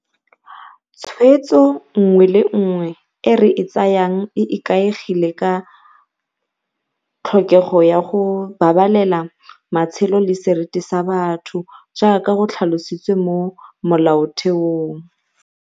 Tshwetso nngwe le nngwe e re e tsayang e ikaegile ka tlhokego ya go babalela matshelo le seriti sa batho jaaka go tlhalositswe mo Molaotheong.